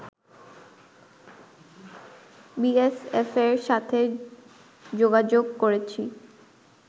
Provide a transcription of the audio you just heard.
বিএসএফের সাথে যোগাযোগ করেছি